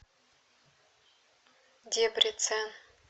дебрецен